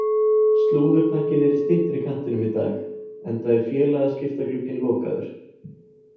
Slúðurpakkinn er í styttri kantinum í dag enda er félagaskiptaglugginn lokaður.